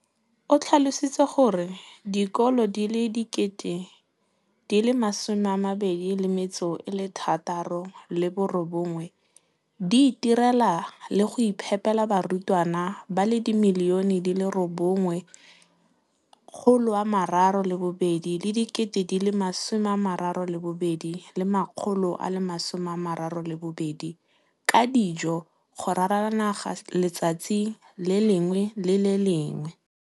o tlhalositse gore dikolo di le 20 619 di itirela le go iphepela barutwana ba le 9 032 622 ka dijo go ralala naga letsatsi le lengwe le le lengwe.